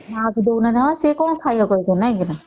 ମା କୁ ଡଉଛ ନାହିଁ ସେ କଣ ଖାଇବ କହି କରି